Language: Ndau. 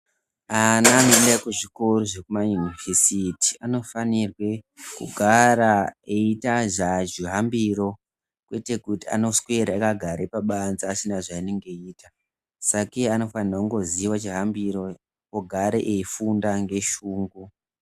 Ana anoende kuzvikora zvekumayunivhesiti anofanirwe kugara eiita zvihambiro kwete kuti anoswera akagara pabanze asina zvaanenge eiita. Sakei anofanira kungoziva chihambiro vogare veifunda ngeshungu.